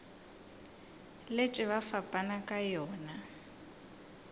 letše ba fapana ka yona